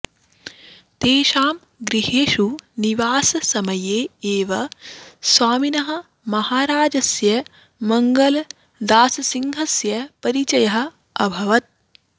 तेषां गृहेषु निवाससमये एव स्वामिनः महाराजस्य मङ्गलदाससिंहस्य परिचयः अभवत्